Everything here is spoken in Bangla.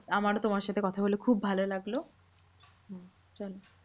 আমারও তোমার সাথে কথা বলে খুব ভালো লাগলো। হম চলো